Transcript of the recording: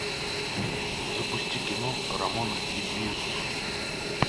запусти кино рамона и бизус